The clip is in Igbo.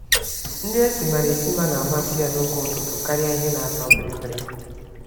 Nri esimara esima na amasị ya noge ụtụtụ, karịa ihe natọ bịrị-bịrị